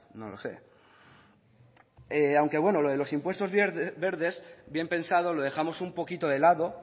no lo sé aunque bueno lo de los impuestos verdes bien pensado lo dejamos un poquito de lado